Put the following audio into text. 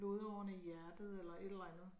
Blodårene i hjertet eller et eller andet